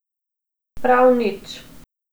Prav nič.